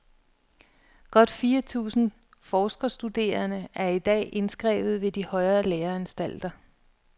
Godt fire tusinde forskerstuderende er i dag indskrevet ved de højere læreanstalter.